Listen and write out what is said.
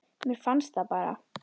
Mér fannst það bara.